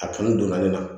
A kanu donna ne na